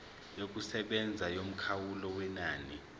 yokusebenza yomkhawulo wenani